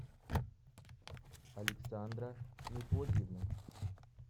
александра мефодиевна